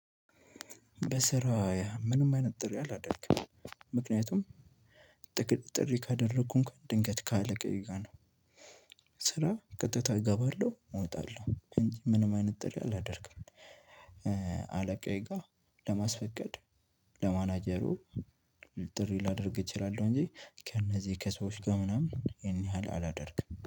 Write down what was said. በስራየ ምንም አይነት ጥሪ አላደረግም ምክንያቱም ጥቅጥቅ ጥሪ ካደረኩ እንኳን ድንገት ካለቀየ ጋር ነው። ስራ ቀጥታ እገባለሁ እወጣለሁ እንጂ ምንም አይነት ጥሪ አላደርግም። አለቃዬ ጋር ለማስፈቀድ ለማናጀሩ ጥሪ ላደርግ እችላለሁ። እንጂ ከእነዚህ ከሰዎች ጋር ምናምን ይሄን ያህል አላደርግም